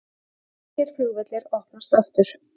Þýskir flugvellir opnast aftur